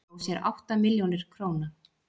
Dró sér átta milljónir króna